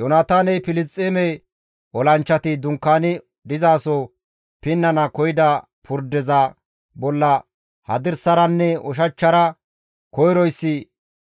Yoonataaney Filisxeeme olanchchati dunkaani dizaso pinnana koyida purdeza bolla hadirsaranne ushachchara koyroyssi